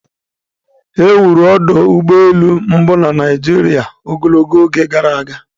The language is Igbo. Ewuru ọdụ ụgbọ elu mbụ na Naijiria ogologo oge gara aga